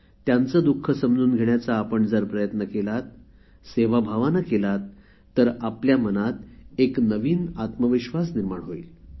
त्यांच दुःख समजून घेण्याचा आपण जर सेवाभावाने प्रयत्न केलात तर आपल्या मनात एक नवीन आत्मविश्वास निर्माण होईल